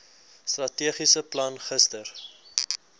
strategiese plan gister